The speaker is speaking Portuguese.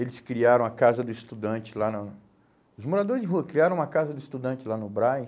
Eles criaram a Casa do Estudante lá no... Os moradores de rua criaram a Casa do Estudante lá no Brás.